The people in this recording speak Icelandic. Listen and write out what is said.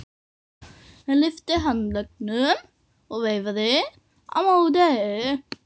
Hann lyfti handleggnum og veifaði á móti.